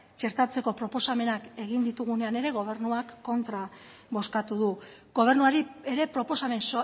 txertatzeko proposamenak egin ditugunean ere gobernuak kontra bozkatu du gobernuari ere proposamen